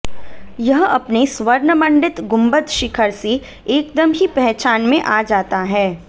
यह अपने स्वर्ण मंडित गुम्बद शिखर से एकदम ही पहचान में आ जाता है